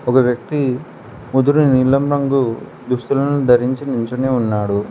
ఒక వ్యక్తి ముదురు నీలం రంగు దుస్తులను ధరించి నించొని ఉన్నాడు.